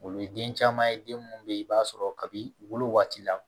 O ye den caman ye den minnu bɛ yen i b'a sɔrɔ kabi wolo waati la